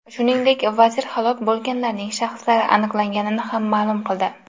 Shuningdek, vazir halok bo‘lganlarning shaxslari aniqlanganini ham ma’lum qildi.